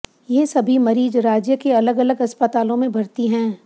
ये सभी मरीज राज्य के अलग अलग अस्पतालों में भर्ती हैं